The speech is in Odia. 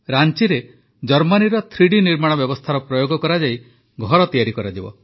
ରାଂଚିରେ ଜର୍ମାନୀର ଥ୍ରୀଡି ନିର୍ମାଣ ବ୍ୟବସ୍ଥାର ପ୍ରୟୋଗ କରାଯାଇ ଘର ତିଆରି କରାଯିବ